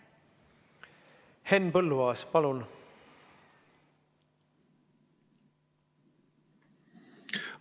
Henn Põlluaas, palun!